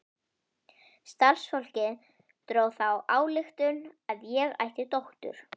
Starfsfólkið dró þá ályktun að ég ætti dóttur.